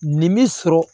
Nin bi sɔrɔ